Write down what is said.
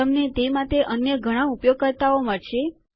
તમને તે માટે અન્ય ઘણા ઉપયોગકર્તાઓ મળશે